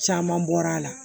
Caman bɔra a la